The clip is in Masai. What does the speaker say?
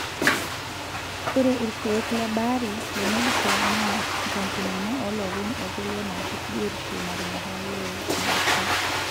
Ore ilkeek lebaare le Medicare naa nkampunini olopeny okulie naarip biotisho naatonyorayie medicare.